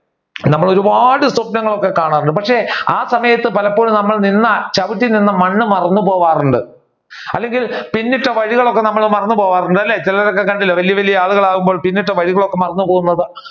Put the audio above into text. നമ്മൾ ഒരുപാട് സ്വപ്‌നങ്ങൾ ഒക്കെ കാണാറുണ്ട് പക്ഷെ ആ സമയത്ത് പലപ്പോഴും നമ്മൾ നിന്ന ചവിട്ടി നിന്ന മണ്ണ് മറന്നുപോവാറുണ്ട് അല്ലെങ്കിൽ പിന്നിട്ട വഴികൾ ഒക്കെ നമ്മൾ മറന്നുപോകാറുണ്ട് അല്ലെ ചിലരെ ഒക്കെ കണ്ടില്ലേ വലിയ വലിയ ആളുകളാകുമ്പോൾ പിന്നിട്ട വഴികൾ ഒക്കെ മറന്നുപോകുന്നത്